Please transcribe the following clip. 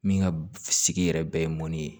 Min ka sigi yɛrɛ bɛɛ ye mɔni ye